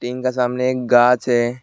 Tin का सामने गाछ है।